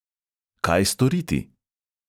Kaj storiti?